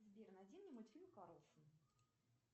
сбер найди мне мультфильм карлсон